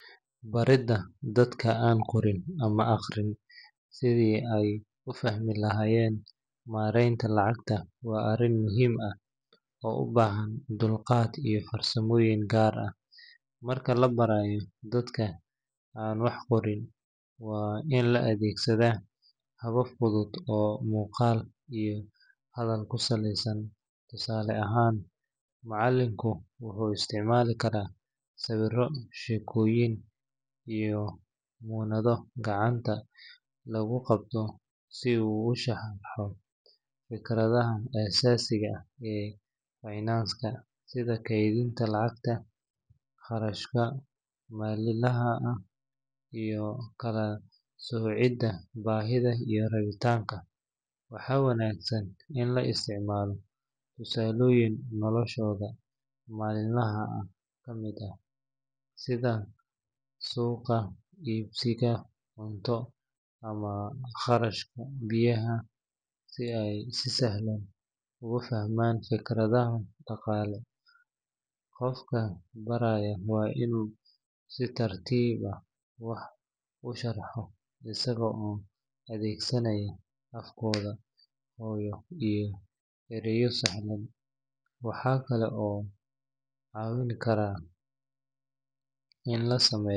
Baridda dadka aan qorin ama akhriyin sidii ay u fahmi lahaayeen maareynta lacagta waa arrin muhiim ah oo u baahan dulqaad iyo farsamooyin gaar ah. Marka la barayo dadka aan wax qorin, waa in la adeegsadaa habab fudud oo muuqaal iyo hadal ku saleysan. Tusaale ahaan, macalinku wuxuu isticmaali karaa sawirro, sheekooyin, iyo muunado gacanta lagu qabto si uu u sharxo fikradaha aasaasiga ah ee finance-ka sida kaydinta lacagta, kharashka maalinlaha ah, iyo kala soocidda baahida iyo rabitaanka. Waxaa wanaagsan in la isticmaalo tusaalooyin noloshooda maalinlaha ah ka yimid, sida suuqa, iibsashada cunto, ama kharashka biyaha, si ay si sahlan ugu fahmaan fikradaha dhaqaale. Qofka baraya waa inuu si tartiib ah wax u sharxo, isaga oo adeegsanaaya af-kooda hooyo iyo ereyo sahlan. Waxaa kale oo caawin karta in la sameeyo .